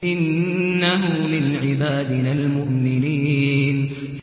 إِنَّهُ مِنْ عِبَادِنَا الْمُؤْمِنِينَ